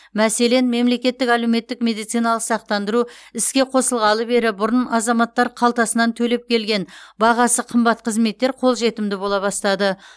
мәселен мемлекеттік әлеуметтік медициналық сақтандыру іске қосылғалы бері бұрын азаматтар қалтасынан төлеп келген бағасы қымбат қызметтер қолжетімді бола бастады